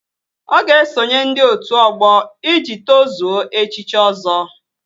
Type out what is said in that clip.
Ọ ga-esonye ndị otu ọgbọ iji tozuo echichi Ọzọ